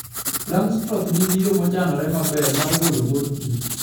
Langstroth nigi yo mochanore maber mar golo mor kich.